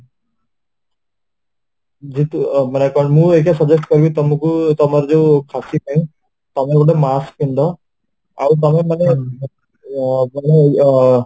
ଯେହେତୁ ମୁଁ ଏଇଟା suggest କରିବି ତମକୁ ତମର ଯୋଉ ପାଇଁ ତମେ ଗୋଟେ mask ପିନ୍ଧ ଆଉ ତମେ ମାନେ ଆଃ